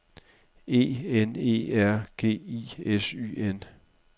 E N E R G I S Y N